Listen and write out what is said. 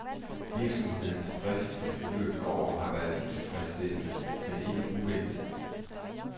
Virksomhedens drift i det forløbne år har været utilfredsstillende, men ikke uventet.